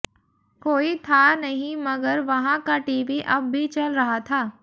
कोई था नहीं मगर वहां का टीवी अब भी चल रहा था